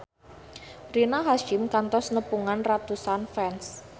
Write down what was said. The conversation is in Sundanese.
Rina Hasyim kantos nepungan ratusan fans